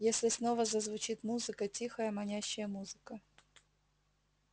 если снова зазвучит музыка тихая манящая музыка